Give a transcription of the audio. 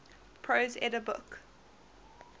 prose edda book